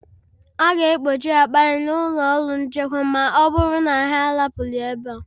Ha ga-akpọchi akpa anyị n’ụlọ ọrụ nchekwa ma ọ bụrụ na anyị ahapụghị ebe a